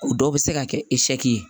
O dɔw bɛ se ka kɛ ye